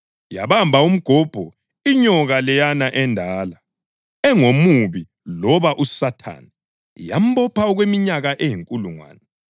Yabamba umgobho, inyoka leyana endala, engoMubi loba uSathane, yambopha okweminyaka eyinkulungwane.